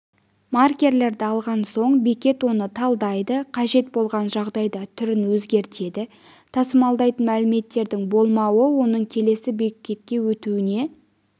маркерді алған соң бекет оны талдайды қажет болған жағдайда түрін өзгертеді тасымалдайтын мәліметтердің болмауы оның келесі бекетке өтуіне